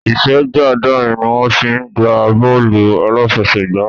Ìsẹ́jú àádọ́rin ni wọ́n fi ń gbá bọ́ọ̀lù aláfẹsẹ̀gbá